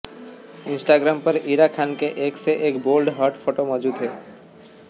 Instagram पर इरा खान के एक से एक बोल्ड हॉट फोटो मौजूद हैं